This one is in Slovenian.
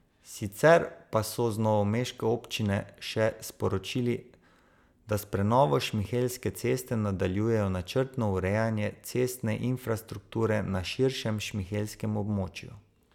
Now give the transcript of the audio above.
Sicer pa so z novomeške občine še sporočili, da s prenovo Šmihelske ceste nadaljujejo načrtno urejanje cestne infrastrukture na širšem šmihelskem območju.